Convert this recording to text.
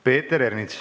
Peeter Ernits.